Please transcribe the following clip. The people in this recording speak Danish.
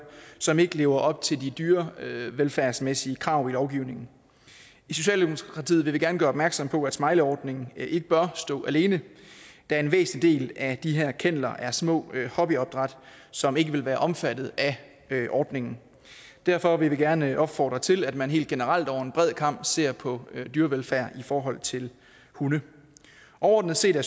som ikke lever op til de dyrevelfærdsmæssige krav i lovgivningen i socialdemokratiet vil vi gerne gøre opmærksom på at smileyordningen ikke bør stå alene da en væsentlig del af de her kenneler er små hobbyopdræt som ikke vil være omfattet af ordningen og derfor vil vi gerne opfordre til at man helt generelt over en bred kam ser på dyrevelfærd i forhold til hunde overordnet set er